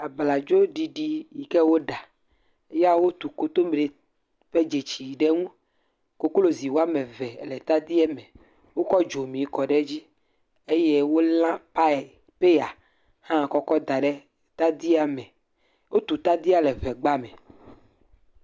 abladzo ɖiɖi yike woɖa ya wotu kotomrɛ ƒe dzetsi ɖɛ ŋu koklozi wɔamɛvɛ le tadia mɛ wokó dzomi kɔɖe dzi eye wolã pie pɛya hã kɔkɔ́ daɖe tadia me wotu tadia le ʋegba me